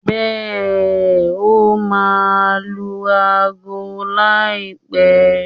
Bẹ́ẹ̀ n, ó máa lu ago láìpẹ́.